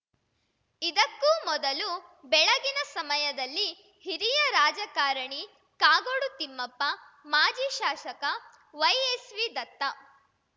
ಇದಕ್ಕೂ ಮೊದಲು ಬೆಳಗಿನ ಸಮಯದಲ್ಲಿ ಹಿರಿಯ ರಾಜಕಾರಣಿ ಕಾಗೋಡು ತಿಮ್ಮಪ್ಪ ಮಾಜಿ ಶಾಸಕ ವೈಎಸ್‌ವಿ ದತ್ತ